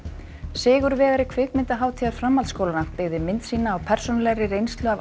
sigurvegari kvikmyndahátíðar framhaldsskólanna byggði mynd sína á persónulegri reynslu af